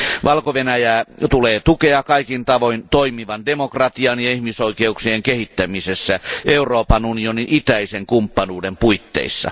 Valko Venäjää tulee tukea kaikin tavoin toimivan demokratian ja ihmisoikeuksien kehittämisessä Euroopan unionin itäisen kumppanuuden puitteissa.